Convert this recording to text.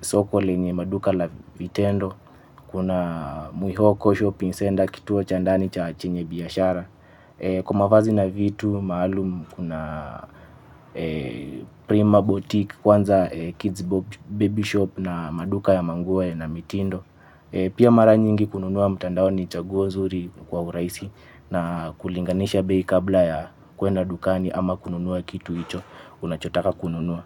soko lenye maduka la vitendo. Kuna mwihoko shopping center kituo cha ndani cha chenye biashara. Kwa mavazi na vitu maalum kuna prima boutique kwanza kids baby shop na maduka ya manguo na mitindo. Pia mara nyingi kununua mtandaoni ni chaguo zuri kwa urahisi. Na kulinganisha bei kabla ya kwenda dukani ama kununua kitu icho unachotaka kununua.